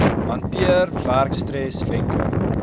hanteer werkstres wenke